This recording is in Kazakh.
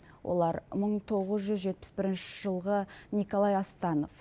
олар мың тоғыз жүз жетпіс бірінші жылғы николай астанов